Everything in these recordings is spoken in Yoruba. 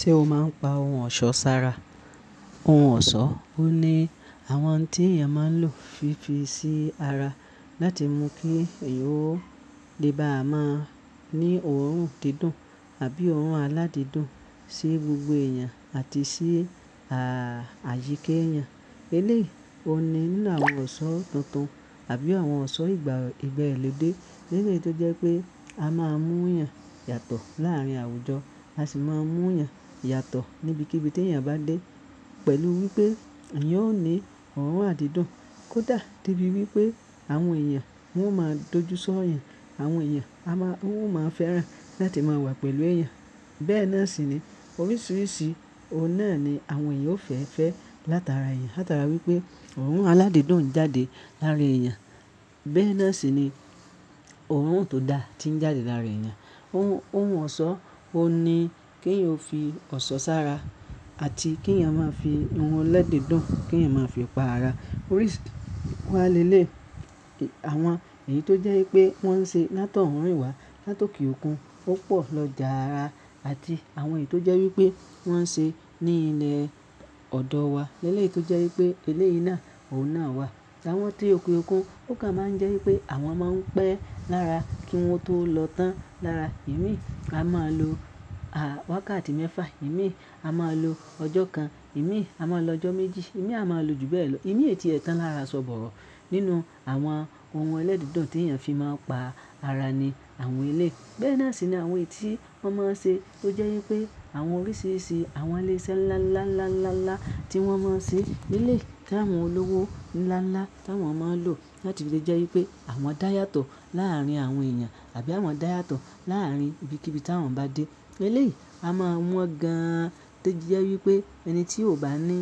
Ṣé o máa ń pa ohun ọ̀ṣọ́ sára? Ohun ọ̀ṣọ́, ó ní àwọn ohun tí èèyàn máa ń lò fí fi sí ara láti mú kí èèyàn ó le bá a máa ní òórùn dídùn àbí òórùn aládídùn sí gbogbo èèyàn àti sí, à, àyíka èèyàn. Eléyìí, ó ní nínú àwọn ọ̀ṣọ́ tuntun àbí àwọn ọ̀ṣọ́ ìgbàlòdé, eléyìí tó jẹ́ pé a máa mú èèyàn yàtọ̀ láàárín àwùjọ, a sì máa mú èèyàn yàtọ̀ níbikíbi tí èèyàn bá dé pẹ̀lú wípé èèyàn ó ní òórùn àdídùn. Kódà debi wípé àwọn èèyàn wọn máa ń dojú sọ́ èèyàn, àwọn èèyàn a máa, wọn máa fẹ́ràn láti máa wà pẹ̀lú èèyàn. Bẹ́ẹ̀ náà sì ni oríṣiríṣi ọ̀nà ni àwọn èèyàn ó fẹ́ fẹ́ látara èèyàn, látara wípé òórùn aládídùn ń jáde lára èèyàn. Bẹ́ẹ̀ náà sì ni òórùn tó dá ti ń jáde lára èèyàn. Ohun, ohun ọ̀ṣọ́, ó ni kí èèyàn ó fi ọ̀ṣọ́ sára àti kí èèyàn máa fi ohun ẹlẹ́dídùn, kí èèyàn máa fi pa ara. Oríṣì, wá lé lé, àwọn èyí tó jẹ́ wípé wọ́n ń ṣe látọ̀ọ́rùn ìwà, látọkùn okùn, ó pọ̀ lọjà ara àti àwọn èyí tó jẹ́ wípé wọ́n ń ṣe ní ilẹ̀ ọ̀dọ̀ wa, eléyìí tó jẹ́ wípé eléyìí náà, òun náà wà. Àwọn tí òke okùn ó kàn máa ń jẹ́ wípé àwọn máa ń pẹ́ lára kí wọn tó lọ tán lára. Èmi a máa lo, à, wákàtí mẹ́fà, èmi a máa lo ọjọ́ kan, èmi a máa lo ọjọ́ méjì, èmi a máa lo jù bẹ́ẹ̀ lọ. Èmi èetí ẹ̀ tan lára so bọ̀ro nínú àwọn ohun ẹlẹ́dídùn tí èèyàn fi máa ń pa ara ni àwọn eléyìí. Bẹ́ẹ̀ náà sì ni àwọn èyí tí wọ́n máa ń ṣe tó jẹ́ wípé àwọn oríṣiríṣi àwọn ilé iṣẹ́ ńlá, ńlá, ńlá, ńlá, ńlá tí wọ́n máa ń ṣe nílé kí àwọn olówó ńlá, ńlá tí àwọn máa ń lò láti lè jẹ́ wípé àwọn dá yàtọ̀ láàárín àwọn èèyàn àbí àwọn dá yàtọ̀ láàárín ibikíbi tí àwọn bá dé. Eléyìí, a máa mú ọ gan-an tí ó jẹ́ wípé ẹni tí ò bá ní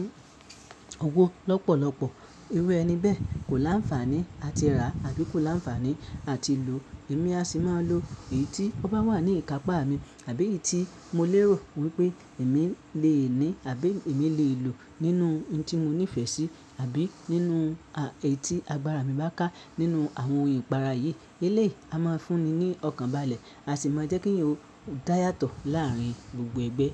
owó lọ́pọ̀lọ́pọ̀, eru ẹni bẹ́ẹ̀ kò láǹfààní à ti rà àbí kò láǹfààní à ti lò. Èmi a sì máa lo èyí tí ọ bá wà ní ìkápá mi àbí èyí tí mo lérò wípé èmi lè ní àbí èmi lè lò nínú ohun tí mo nífẹ̀ẹ́ sí àbí nínú, a, èyí tí agbára mi bá ká nínú àwọn ohun ìpara yìí. Eléyìí, a máa fúnni ní ọkàn balẹ̀, a sì máa jẹ́ kí eyan ó dá yàtọ̀ láàárín gbogbo ẹgbẹ́